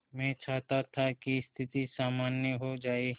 मैं चाहता था कि स्थिति सामान्य हो जाए